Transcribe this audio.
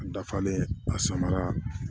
N dafalen a samara